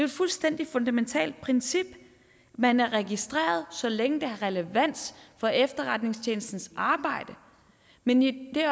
et fuldstændig fundamentalt princip man er registreret så længe det har relevans for efterretningstjenestens arbejde men i det